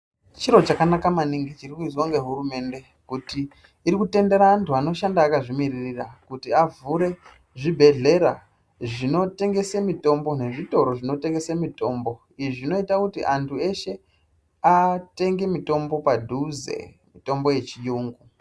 Chiro chakanaka maningi chirikuizwa ngehurumende kuti irikutendera antu anoshanda akazvimiririra. Kuti avhure zvibhedhlera zvinotengesa mitombo nezvitoro zvinotengese mitombo. Izvi zvinota kuti antu eshe atenge mitombo padhuze mitombo yechiyungu.